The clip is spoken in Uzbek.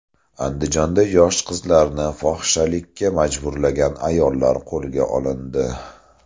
Andijonda yosh qizlarni fohishalikka majburlagan ayollar qo‘lga olindi.